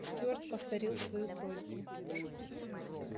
стюарт повторил свою просьбу